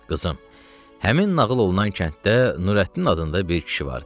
Qızım, həmin nağıl olunan kənddə Nurəddin adında bir kişi vardı.